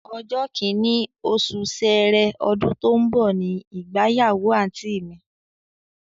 Ọjọ́ kìnní, osù sẹẹrẹ, ọdún tó ń bọ̀ ni ìgbáyàwó àǹtí mi